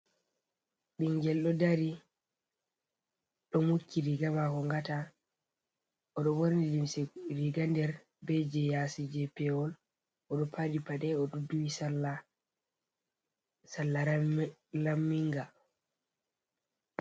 Ɓingel ɗo dari ɗo mukki riga mako ngata, oɗo ɓorni limse, riga nder be je yasi je pewol oɗo paɗi paɗe, o ɗo duwi salla raminga.